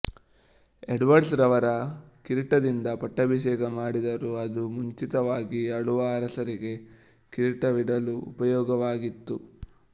Edwards ರವರ ಕಿರೀಟದಿಂದ ಪಟ್ಟಾಭಿಷೇಕ ಮಾಡಿದರು ಅದು ಮುಂಚಿತವಾಗಿ ಆಳುವ ಅರಸರಿಗೆ ಕಿರೀಟವಿಡಲು ಉಪಯೋಗವಾಗಿತ್ತು